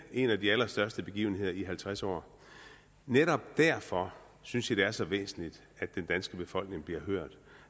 en af de allerstørste begivenheder i halvtreds år netop derfor synes jeg det er så væsentligt at den danske befolkning bliver hørt